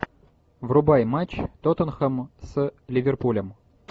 врубай матч тоттенхэм с ливерпулем